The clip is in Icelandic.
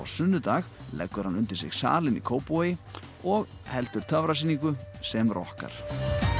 sunnudag leggur hann undir sig salinn í Kópavogi og heldur töfrasýningu sem rokkar